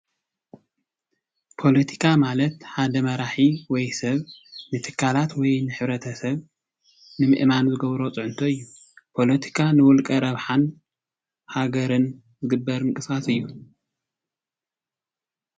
ፖለቲካ ማለት ሓደ መራሒ ወይ ሰብ ንትካላት ወይ ንሕብረተሰብ ንምእማን ዝገብሮ ፅዕንቶ እዪ ። ፖለቲካ ንዉልቀ ረብሓን ሃገርን ዝግበር ምንቅስቃስ እዪ ።